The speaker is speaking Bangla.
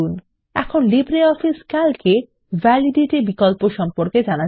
এখন লিব্রিঅফিস ক্যালক এ ভ্যালিডিটি বিকল্প সম্পর্কে জানবো